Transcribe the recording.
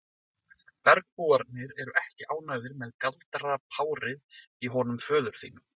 Bergbúarnir eru ekki ánægðir með galdrapárið í honum föður þínum.